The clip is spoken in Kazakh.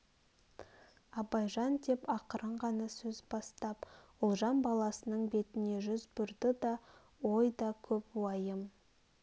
абайжан деп ақырын ғана сөз бастап ұлжан баласының бетіне жүз бұрды да ой да көп уайым